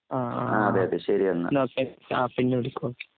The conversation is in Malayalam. അ ആഹ് എന്നോക്കെ ആപിന്നെവിളിക്ക്.